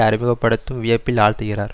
அறிமுக படுத்தும் வியப்பில் ஆழ்த்துகிறார்